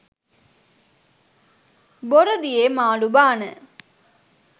බොර දියේ මාළු බාන